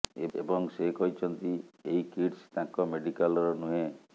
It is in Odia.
ଏବଂ ସେ କହିଛନ୍ତିି ଏହି କିଟସ୍ ତାଙ୍କ ମେଡିକାଲର ନୁହେଁ